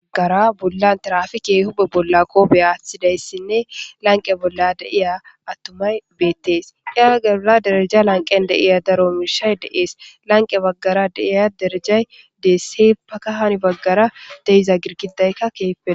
Gara bolla tirafikey huphphe bolla qoppe aththidayssine lanqqe bolla deiya attumay bettes egara derrejja lanqqen deiya daaro mishshay de7es lanqqe baggara deiya derejjay dess heeppaka hani baggara deiza giirgidayka desse heppa hani baggara deiza girggidayka kehippe lo...